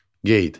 Qeyd.